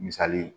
Misali